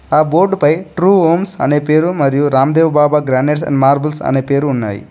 ఆ బోర్డు పై true homes అనే పేరు మరియు Ramdev Baba granites and marbles అనే పేరు ఉన్నాయి.